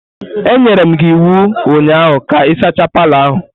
Enyere m gi iwu ụnyaahụ ka ị sachaa palọ ahụ!